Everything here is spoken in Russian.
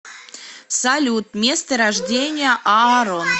салют место рождения аарон